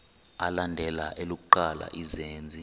alandela elokuqala izenzi